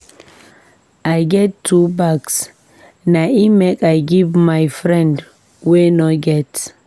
I get two bags na im make I give my friend wey no get.